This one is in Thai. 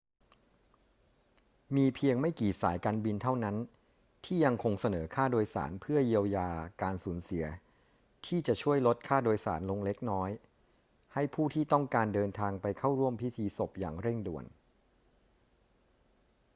มีเพียงไม่กี่สายการบินเท่านั้นที่ยังคงเสนอค่าโดยสารเพื่อเยียวยาการสูญเสียที่จะช่วยลดค่าโดยสารเล็กน้อยให้ผู้ที่ต้องการเดินทางไปเข้าร่วมพิธีศพอย่างเร่งด่วน